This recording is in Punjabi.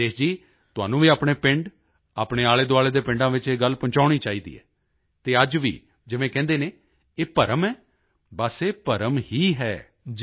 ਰਾਜੇਸ਼ ਜੀ ਤੁਹਾਨੂੰ ਵੀ ਆਪਣੇ ਪਿੰਡ ਆਪਣੇ ਆਲੇਦੁਆਲੇ ਦੇ ਪਿੰਡਾਂ ਵਿੱਚ ਇਹ ਗੱਲ ਪਹੁੰਚਾਉਣੀ ਚਾਹੀਦੀ ਹੈ ਅਤੇ ਅੱਜ ਵੀ ਜਿਵੇਂ ਕਹਿੰਦੇ ਹਨ ਇਹ ਭਰਮ ਹੈ ਬਸ ਇਹ ਭਰਮ ਹੀ ਹੈ